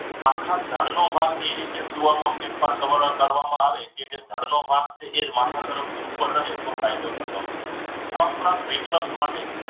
આખા તળનો ભાગ એ રીતે સૂવામાં ફેરફાર કરવામાં આવે જે તે દળનો ભાગ છે એ જ માથા તરફથી ઉપર રાખીએ એટલો ફાયદો થતો હોય છે. આ ઉપરાંત reflect માટે